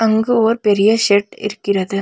அங்க ஓர் பெரிய ஷெட் இருக்கிறது.